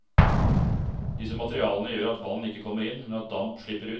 Disse materialene gjør at vann ikke kommer inn, men at damp slipper ut.